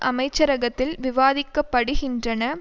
அமைச்சரகத்தில் விவாதிக்க படுகின்றன